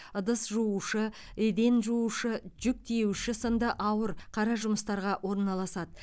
ыдыс жуушы еден жуушы жүк тиеуші сынды ауыр қара жұмыстарға орналасады